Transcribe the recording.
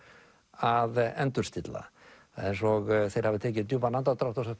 að endurstilla eins og þeir hafi tekið djúpan andardrátt og sagt